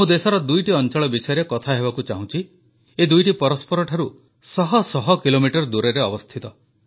ମୁଁ ଦେଶର ଦୁଇଟି ଅଂଚଳ ବିଷୟରେ କଥା ହେବାକୁ ଚାହୁଁଛି ଏ ଦୁଇଟି ପରସ୍ପରଠାରୁ ଶହ ଶହ କିଲୋମିଟର ଦୂରରେ ଅବସ୍ଥିତ